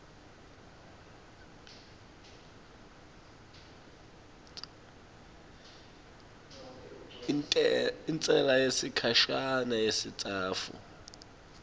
intsela yesikhashana yesitsatfu